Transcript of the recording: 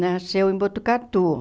nasceu em Botucatu.